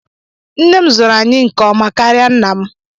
Nne m zụrụ anyị nke ọma karịa nna m.